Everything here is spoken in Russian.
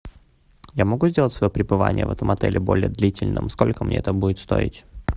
я могу сделать свое пребывание в этом отеле более длительным сколько мне это будет стоить